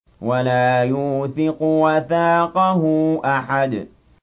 وَلَا يُوثِقُ وَثَاقَهُ أَحَدٌ